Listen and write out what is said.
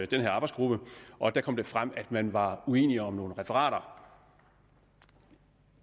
den her arbejdsgruppe og der kom det frem at man var uenig om nogle referater